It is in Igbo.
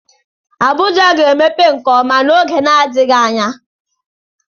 Abuja ga-emepe nke ọma n'oge n'adịghị anya.